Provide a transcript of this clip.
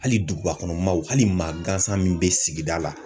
Hali duguba kɔnɔ maaw, hali maa gansan min bɛ sigida la.